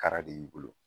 Kara de y'i bolo